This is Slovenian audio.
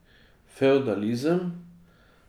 Fevdalizem.